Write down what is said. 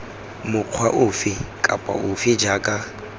mokgwa ofe kapa ofe jaaka